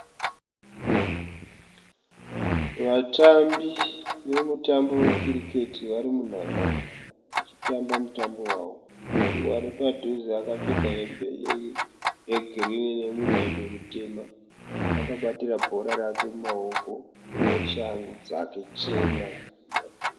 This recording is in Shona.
Vatambi vemutambo we Cricket vari munhandare vachitamba mutambo wavo. Ari padhuze akapfeka hembe yegirinhi nemudhebhe mutema. Akabatira bhora rake mumaoko neshangu dzake chena.